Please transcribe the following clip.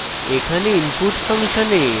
এখানে input ফাংশনে